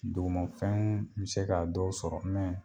Dugumafɛn mi se ka dɔw sɔrɔ